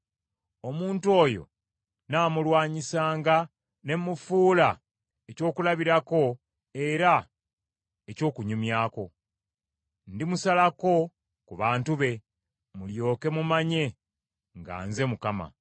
Omuntu oyo nnaamulwanyisanga ne mufuula ekyokulabirako era eky’okunyumyako. Ndimusalako ku bantu be, mulyoke mumanye nga nze Mukama .